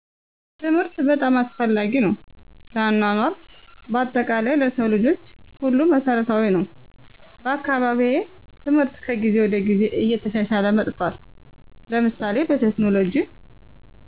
ትምህርት በጣም አስፈላጊ ነው ለአኗኗር በአጠቃላይ ለሰው ልጆች ሁሉ መሰረታዊ ነወ። በአካባቢየ ትምህርት ከጊዜ ወደ ጊዜ እየተሻሻለ መጥቷል ለምሳሌ በቴክኖሎጅ